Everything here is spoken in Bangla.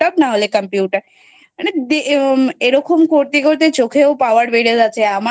নাহলে Computer এরকম করতে করতেই চোখের Power বেড়ে যাচ্ছে।